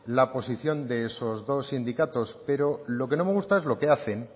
la posición de esos dos sindicatos pero lo que no me gusta es lo que hacen